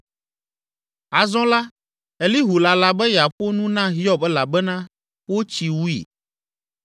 Azɔ la, Elihu lala be yeaƒo nu na Hiob elabena wotsi wui.